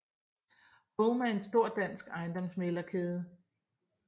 home er en stor dansk ejendomsmæglerkæde